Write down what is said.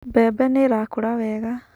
Mbembe nĩ irakũra wega